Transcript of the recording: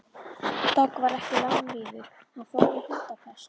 Dogg varð ekki langlífur, hann fór úr hundapest.